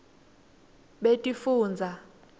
betifundza